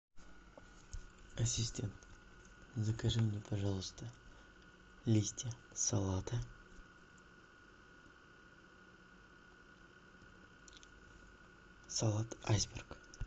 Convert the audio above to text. ассистент закажи мне пожалуйста листья салата салат айсберг